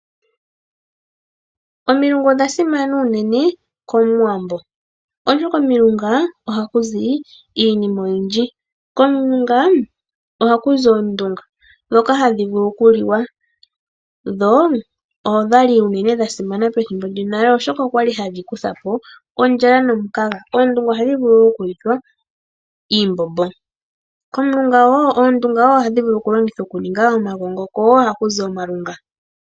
Omilunga odha simana unene komuwambo oshoka oha kuzi iinima oyindji. Komulunga oha kuzu oondunga ndhoka hadhi vulu okuliwa dho odhali dhasimana pethibo lyonale oshoka oshali hadhi kutha po ondhala nomukaga. Ohadhi vulu okuliwa iimbombo, ohaku zi wo omalunga.